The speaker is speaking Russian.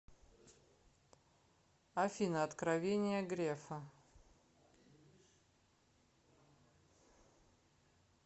афина откровения грефа